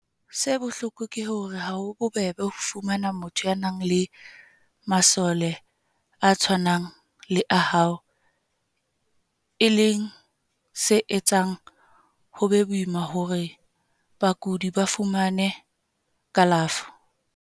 Se bohloko ke hore ha ho bobebe ho fumana motho ya nang le masole a tshwanang le a hao, e leng se etsang ho be boima hore bakudi ba fumane kalafo.